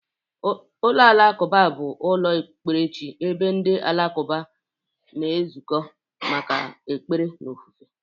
Ụlọ alakụba bụ ụlọ okpukperechi ebe ndị alakụba na-ezukọ maka ekpere na ofufe.